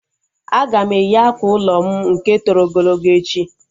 Aga m eyi akwa ụlọ m nke toro ogologo echi